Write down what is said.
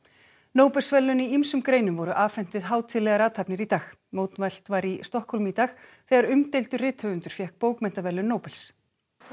Nóbelsverðlaun í ýmsum greinum voru afhent við hátíðlegar athafnir í dag mótmælt var í Stokkhólmi í dag þegar umdeildur rithöfundur fékk bókmenntaverðlaun Nóbels